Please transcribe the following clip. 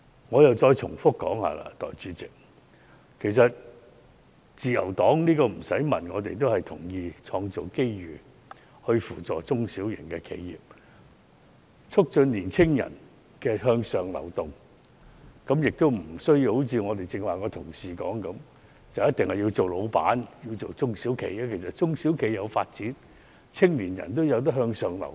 代理主席，我重複說，自由黨毫無疑問同意要創造機遇扶助中小型企業及促進青年人向上流動，其實無須如剛才的同事所說，青年人必須要做老闆，因為如果中小企有所發展，青年人也可以向上流動。